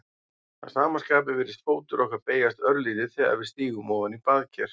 Að sama skapi virðist fótur okkar beygjast örlítið þegar við stígum ofan í baðker.